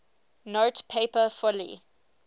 note paper fully